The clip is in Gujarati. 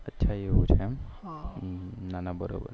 એવું છે એમ ના ના બરોબર